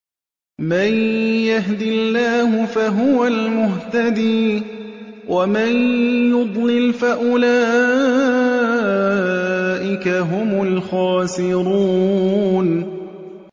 مَن يَهْدِ اللَّهُ فَهُوَ الْمُهْتَدِي ۖ وَمَن يُضْلِلْ فَأُولَٰئِكَ هُمُ الْخَاسِرُونَ